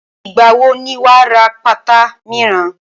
Ìgbà wo ni wà á ra pátá míràn?